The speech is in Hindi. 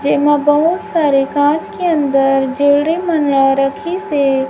जेमा बहुत सारे कांच के अंदर ज्वेलरी रखी से--